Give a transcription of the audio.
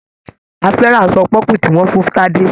A fẹ́ràn aṣọ pọ́pù tí wọ́n fún Tadé.